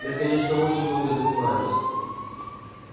я конечно очень много занимаюсь